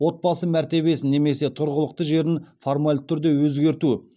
отбасы мәртебесін немесе тұрғылықты жерін формальды түрде өзгерту